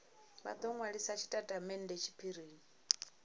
vha do nwalisa tshitatamennde tshiphirini